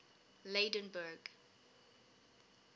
lydenburg